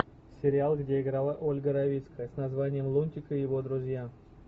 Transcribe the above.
сериал где играла ольга равицкая с названием лунтик и его друзья